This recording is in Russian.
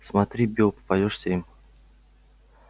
смотри билл попадёшься им